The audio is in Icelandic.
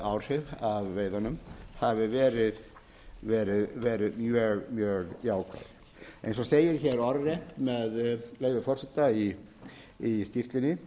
samfélagsáhrif að veiðunum hafi verið mjög jákvæð eins og segir hér orðrétt með leyfi forseta í skýrslunni